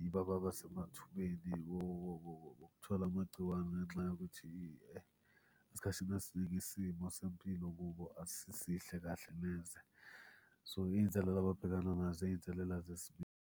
yibo ababa semathubeni wokuthola amagciwane ngenxa yokuthi esikhathini esiningi isimo sempilo kubo asisihle kahle neze. So iy'nselela ababhekana nazo iy'nselela.